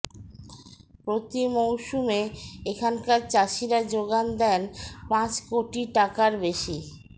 প্রতি মৌসুমে এখানকার চাষিরা জোগান দেন পাঁচ কোটি টাকার বেশি